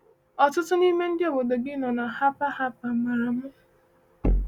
Ọtụtụ n’ime ndị obodo gị nọ na Harper Harper maara m.